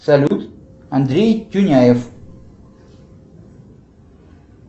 салют андрей тюняев